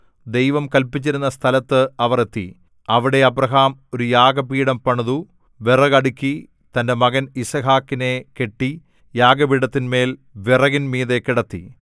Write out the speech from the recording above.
ദൈവം കല്പിച്ചിരുന്ന സ്ഥലത്ത് അവർ എത്തി അവിടെ അബ്രാഹാം ഒരു യാഗപീഠം പണിതു വിറക് അടുക്കി തന്റെ മകൻ യിസ്ഹാക്കിനെ കെട്ടി യാഗപീഠത്തിന്മേൽ വിറകിന്മീതെ കിടത്തി